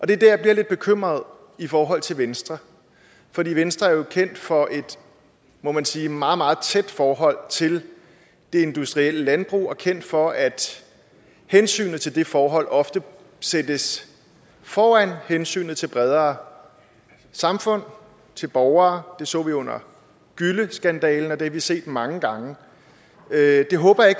det er der jeg bliver lidt bekymret i forhold til venstre for venstre er jo kendt for et må man sige meget meget tæt forhold til det industrielle landbrug og kendt for at hensynet til det forhold ofte sættes foran hensynet til bredere samfundsforhold til borgere det så vi under gylleskandalen og det har vi set mange gange det håber jeg